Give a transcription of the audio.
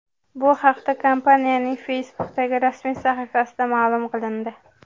Bu haqda kompaniyaning Facebook’dagi rasmiy sahifasida ma’lum qilindi .